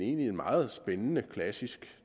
en meget spændende klassisk